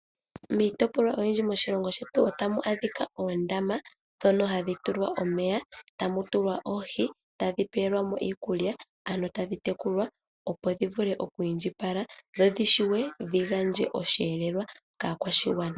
Miitopolwa oyindji moshilongo shetu otamu adhika oondama dhono hadhi tulwa omeya, tamu tulwa oohi tadhi pewelwamo iikulya ano tadhi tekulwa opo dhivule oku indjipala dho dhishuwe dhigadje osheelelwa kaakwashigwana.